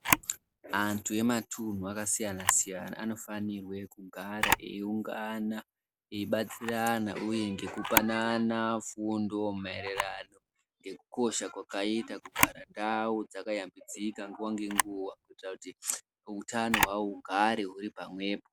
Antu e matunhu aka siyana siyana ano fanirwe kugara eyi ungana eyi batsirana uye ngeku panana fundo maererano ngeku kosha kwakaita kugara ndau dzaka yambidzika nguva nge nguva kuitira kuti hutano hwawo hugare huri pa mwepo.